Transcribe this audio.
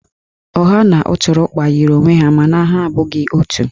Ọha na ụtụrụkpa yiri onwe ha mana ha abụghị otu.